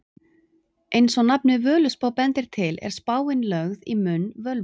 Eins og nafnið Völuspá bendir til er spáin lögð í munn völvu.